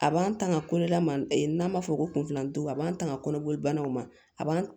A b'an tanga kolola ma n'an b'a fɔ ko kunfilandugu a b'an tanga kɔnɔboli banaw ma a b'an